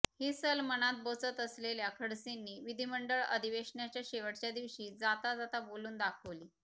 ही सल मनात बोचत असलेल्या खडसेंनी विधिमंडळ अधिवेशनाच्या शेवटच्या दिवशी जाता जाता बोलून दाखवली